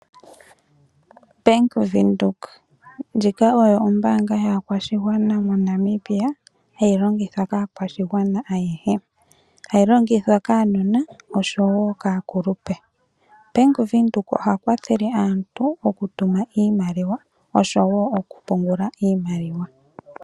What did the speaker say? Bank Windhoek Ndjika oyo ombaanga yaakwashigwana moNamibia hayi longithwa kaakwashigwana ayehe. Hayi longithwa kaanona oshowo kaakulupe. Bank Windhoek oha kwathele aantu oku tuma iimaliwa oshowo oku pungula iimaliwa.